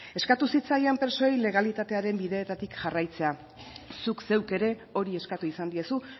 eskatu zitzaien presoei legalitatearen bideetatik jarraitzea zuk zeuk ere hori eskatu izan diezu